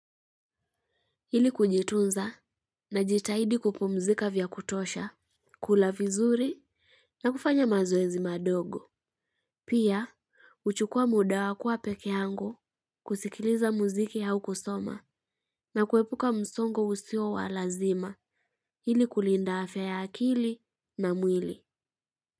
Ili kujitunza najitahidi kupumzika vya kutosha, kula vizuri na kufanya mazoezi madogo. Pia, huchukua muda wa kua peke yangu, kusikiliza muziki au kusoma na kuepuka msongo usio wa lazima. Ili kulinda afya ya akili na mwili.